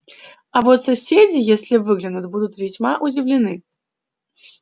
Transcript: а вот соседи если выглянут будут весьма удивлены